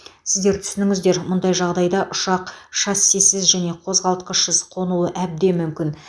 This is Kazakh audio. сіздер түсініңіздер мұндай жағдайда ұшақ шассисіз және қозғалтқышсыз қонуы әбден мүмкін